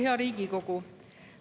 Hea Riigikogu!